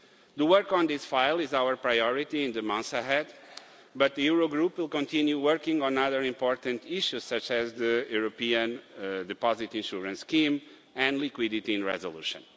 The work on this file is our priority in the months ahead, but the Eurogroup will continue working on other important issues, such as the European Deposit Insurance Scheme and liquidity in resolution.